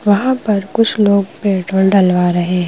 वहाँ पर कुछ लोग पेट्रोल डलवा रहे हैं।